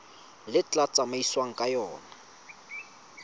le tla tsamaisiwang ka yona